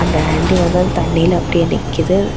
அந்த ஆண்ட்டி வந்து அந்த தண்ணில அப்படியே நிக்குது.